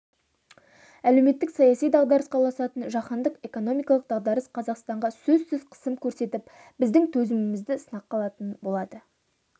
әлеуметтік-саяси дағдарысқа ұласатын жаһандық экономикалық дағдарыс қазақстанға сөзсіз қысым көрсетіп біздің төзімімізді сынаққа алатын болады